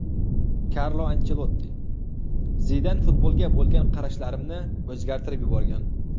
Karlo Anchelotti: Zidan futbolga bo‘lgan qarashlarimni o‘zgartirib yuborgan.